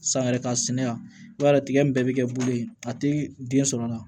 San yɛrɛ ka sɛnɛ yan i b'a ye tigɛ in bɛɛ bi kɛ bolo ye a ti den sɔrɔ a la